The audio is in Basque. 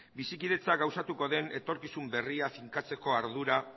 bizikidetza gauzatuko den etorkizun berria finkatzeko ardura